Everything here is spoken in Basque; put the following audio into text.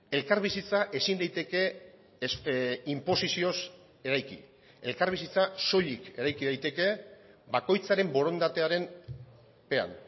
elkarbizitza ezin daiteke inposizioz eraiki elkarbizitza soilik eraiki daiteke bakoitzaren borondatearen pean